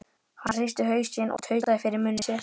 Hann hristi hausinn og tautaði fyrir munni sér